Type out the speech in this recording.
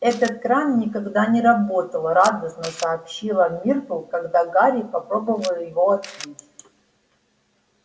этот кран никогда не работал радостно сообщила миртл когда гарри попробовал его открыть